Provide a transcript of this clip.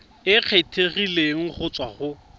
e kgethegileng go tswa go